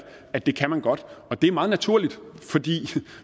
at det kan man godt og det er meget naturligt for